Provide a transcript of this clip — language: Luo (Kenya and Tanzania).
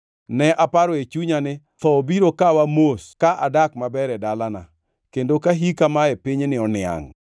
“Ne aparo e chunya ni, ‘Tho biro kawa mos ka adak maber e dalana, kendo ka hika mae pinyni oniangʼ,